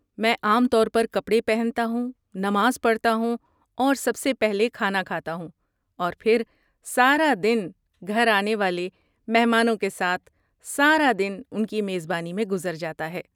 میں عام طور پر کپڑے پہنتا ہوں، نماز پڑھتا ہوں اور سب سے پہلے کھانا کھاتا ہوں۔ اور پھر سارا دن گھر آنے والے مہمانوں کے ساتھ، سارا دن ان کی میزبانی میں گزر جاتا ہے۔